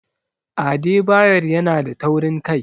Adebayor yanada taurin kai.